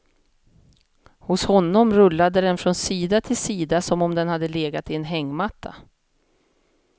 Hos honom rullade den från sida till sida som om den hade legat i en hängmatta.